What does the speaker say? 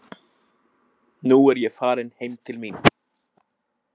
Nú er ég farin heim til mín.